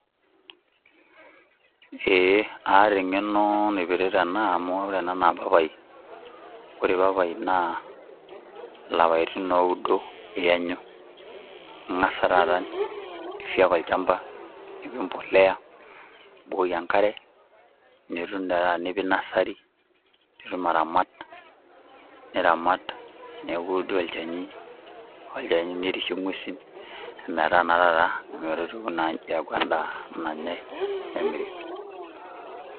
eeh aata eng'eno naipirta ena, amu ore ena naa papai ore papai naa lapaitin ooudo iyanyu ingas taata ifieka olchamba, nipik embolea, nibukoki enkare, nitum taata nipik nassary nitum aramat niramat, neeku doi olchani olchani, nirishie ngwesin ometaa taata ometotiwuo naa nji aaku endaa nanyae nemiri.